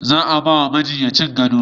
Za a ba wa majinyacin gado